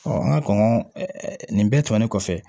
an ka kɔn ɛ ɛ nin bɛɛ tɛmɛnen kɔfɛ